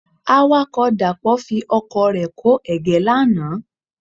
Awakọ̀ Dàpọ̀ fi ọkọ̀ rẹ kó ẹ̀gẹ́ lánàá.